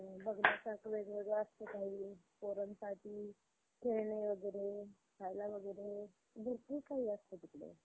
आणि बघण्यासारखं वेगवेगळं असतं काही पोरांसाठी खेळणी वगैरे, खायला वगैरे. भरपूर काही असतं तिकडे.